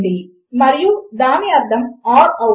లేదా దీనిని చేయడము కొరకు వాటిలో ఏదీ కూడా ట్రూ అవ్వకూడదు